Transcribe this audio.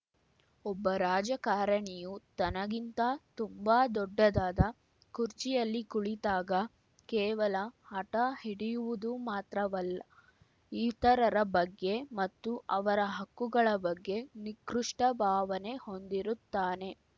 ಒಬ್ಬ ರಾಜಕಾರಣಿಯು ತನಗಿಂತ ತುಂಬ ದೊಡ್ಡದಾದ ಕುರ್ಚಿಯಲ್ಲಿ ಕುಳಿತಾಗ ಕೇವಲ ಹಟ ಹಿಡಿಯುವುದು ಮಾತ್ರವಲ್ಲ ಇತರರ ಬಗ್ಗೆ ಮತ್ತು ಅವರ ಹಕ್ಕುಗಳ ಬಗ್ಗೆ ನಿಕೃಷ್ಟಭಾವನೆ ಹೊಂದಿರುತ್ತಾನೆ